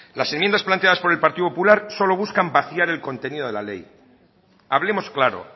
las enmiendas planteadas por el partido popular solo buscan vaciar el contenido de la ley hablemos claro